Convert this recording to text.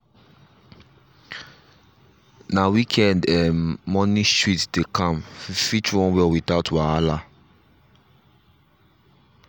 na weekend um morning street dey calm fit run well without wahala. um